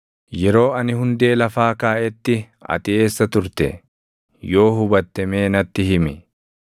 “Yeroo ani hundee lafaa kaaʼetti ati eessa turte? Yoo hubatte mee natti himi.